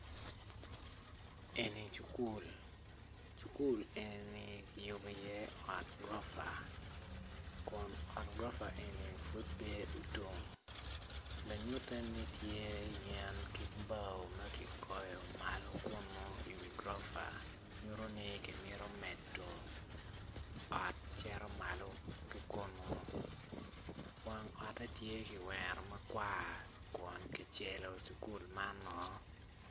Eni cukul cukul enini kiyubo iye ot guropa kun ot guropa eni pud pe otum lanyute ni tye yen ki bao ma kigoyo malo kunu iwi guropa nyutoni kimito medo ot cito malo ki kunu wang otte tye kiwero makwar kun kicelo cukul manoo.